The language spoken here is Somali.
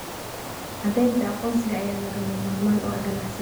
Caddaynta aqoonsiga ayaa lagama maarmaan u ah ganacsiga.